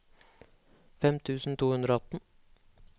fem tusen to hundre og atten